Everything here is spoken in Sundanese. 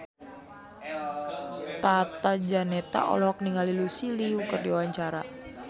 Tata Janeta olohok ningali Lucy Liu keur diwawancara